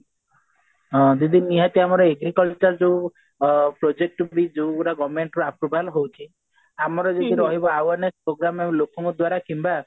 ହଁ ଦିଦି ନିହାତି ଆମର agriculture ଆମର ଯୋଉ ଅ project ବି ଯୋଉଗୁରା government ରୁ approval ହଉଛି ଆମର ଯଦି ରହିବ awareness programme କିମ୍ବା ଲୋକଙ୍କ ଦ୍ଵାରା